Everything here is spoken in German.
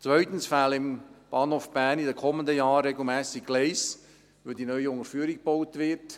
Zweitens fehlen im Bahnhof Bern in den kommenden Jahren regelmässig Gleise, weil die neue Unterführung gebaut wird;